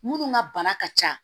Minnu ka bana ka ca